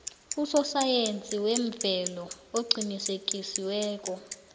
usosayensi wemvelo oqinisekisiweko